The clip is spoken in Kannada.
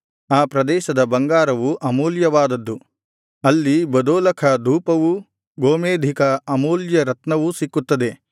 ಆ ಪ್ರದೇಶದ ಬಂಗಾರವು ಅಮೂಲ್ಯವಾದದ್ದು ಅಲ್ಲಿ ಬದೋಲಖ ಧೂಪವೂ ಗೋಮೇಧಿಕದ ಅಮೂಲ್ಯ ರತ್ನವು ಸಿಕ್ಕುತ್ತದೆ